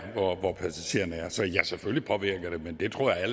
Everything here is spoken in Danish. hvor passagererne er så ja selvfølgelig påvirker det men det tror jeg